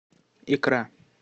икра